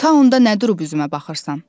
Ta onda nə durub üzümə baxırsan?